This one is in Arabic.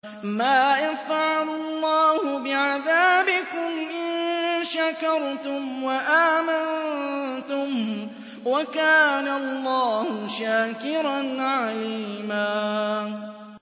مَّا يَفْعَلُ اللَّهُ بِعَذَابِكُمْ إِن شَكَرْتُمْ وَآمَنتُمْ ۚ وَكَانَ اللَّهُ شَاكِرًا عَلِيمًا